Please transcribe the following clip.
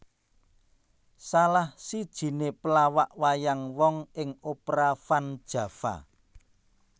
Salah sijiné pelawak wayang wong ing Opera Van Java